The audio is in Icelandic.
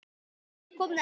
Nú er komið að henni.